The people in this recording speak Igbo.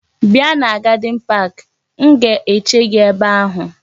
Bia na gadin park! M ga-eche gi ebe ahu.